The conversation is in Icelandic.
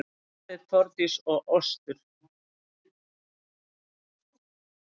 Aðalsteinn, Þórdís og Ostur